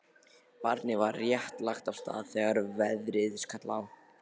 Barnið var rétt lagt af stað þegar veðrið skall á.